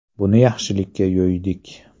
Buni yaxshilikka yo‘ydik.